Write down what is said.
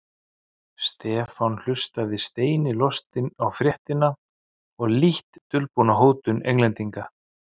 Stefán hlustaði steini lostinn á fréttina og lítt dulbúna hótun Englendinga.